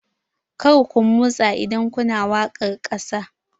Kar ku motsa idan kuna waƙar ƙasa!